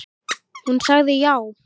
Hún sagði já.